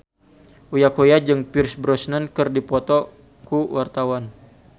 Uya Kuya jeung Pierce Brosnan keur dipoto ku wartawan